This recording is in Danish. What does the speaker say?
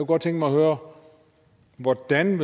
godt tænke mig at høre hvordan